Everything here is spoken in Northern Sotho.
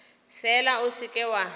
fela o se ke wa